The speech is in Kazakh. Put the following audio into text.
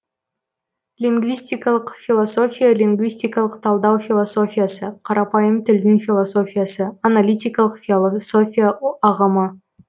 лингвистикалық философия лингвистикалық талдау философиясы қарапайым тілдің философиясы аналитикалық философия ағымы